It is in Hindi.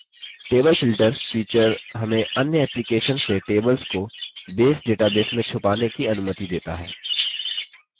table filter feature हमें अन्य एप्लीकेशन से tables को base database में छुपाने की अनुमति देता है